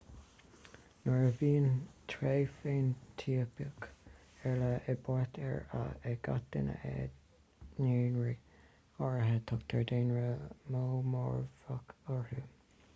nuair a bhíonn tréith feinitíopach ar leith i bpáirt ag gach duine i ndaonra áirithe tugtar daonra monómorfach orthu